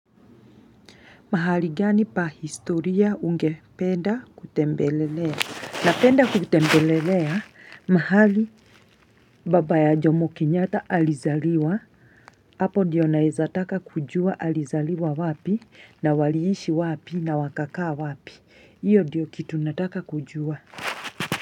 Mahali gani pa historia ungependa kutembelelea. Napenda kutembelelea mahali baba ya Jomo Kenyatta alizaliwa. Hapo ndiyo naweza taka kujua alizaliwa wapi na waliishi wapi na wakakaa wapi. Hiyo ndiyo kitu nataka kujua.